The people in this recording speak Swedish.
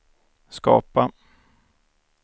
skapa